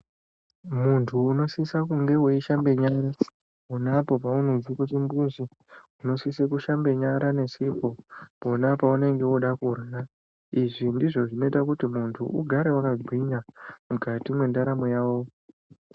Muntu unosise kunga weishamba nyara unapo paunobva kuchimbuzi unosise kushamba nyara ngesipo pona panenge woda kurya izvi ndizvo zvinoita kuti muntu urambe wakagwinya mukati mwendaramo Yako.